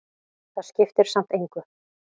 Það skiptir samt engu,